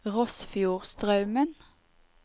Rossfjordstraumen